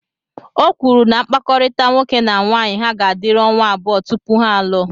O kwuru na mkpakọrịta nwoke na nwaanyị ha ga-adịru ọnwa abụọ tupu ha alụọ